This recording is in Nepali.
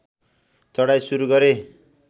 चढाइ सुरु गरे